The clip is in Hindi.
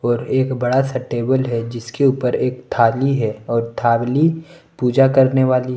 और एक बड़ा सा टेबल है जिसके ऊपर एक थाली है और थाली पूजा करने वाली है।